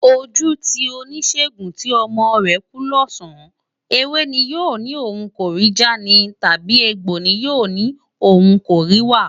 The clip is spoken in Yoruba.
Ojú ti oníṣègùn tí ọmọ rẹ̀ kú lọ́sàn-án, ewé ni yóò ní òun kò rí já ni, tàbí egbò ni yóò ní òun kò rí wá?